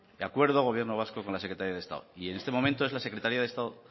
acuerdo del gobierno vasco con la secretaría de estado y en este momento es la secretaría del estado